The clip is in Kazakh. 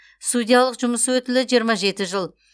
судьялық жұмыс өтілі жиырма жеті жыл